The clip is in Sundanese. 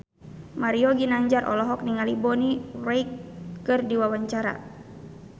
Mario Ginanjar olohok ningali Bonnie Wright keur diwawancara